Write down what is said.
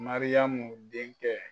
Mariyamu denkɛ.